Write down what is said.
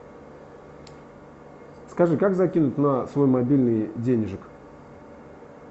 скажи как закинуть на свой мобильный денежек